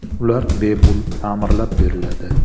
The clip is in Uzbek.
Ular bepul ta’mirlab beriladi.